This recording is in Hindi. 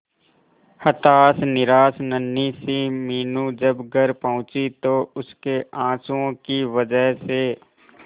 हताश निराश नन्ही सी मीनू जब घर पहुंची तो उसके आंसुओं की वजह से